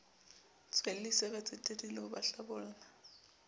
tswellisa batsetedi le ho hlabolla